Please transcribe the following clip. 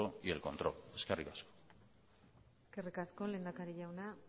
y el control eskerrik asko eskerrik asko lehendakari jauna